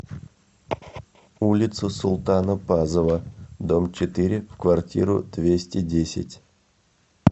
улицу султана пазова дом четыре в квартиру двести десять